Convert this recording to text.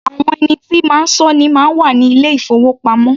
Àwọn ẹni tí máa sọ́ ni máa ń wà ní ilé-ìfowópamọ́.